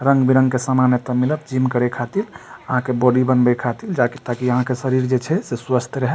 रंग-बिरंग के समान एते मिलत जिम करे खातिर आहां के बॉडी बनवे खातिर जहां की अहां के शरीर जे छै स्वस्थ रहे।